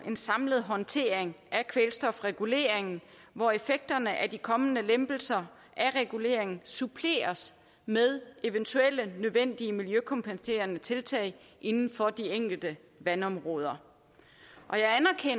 en samlet håndtering af kvælstofreguleringen hvor effekterne af de kommende lempelser af reguleringen suppleres med eventuelle nødvendige miljøkompenserende tiltag inden for de enkelte vandområder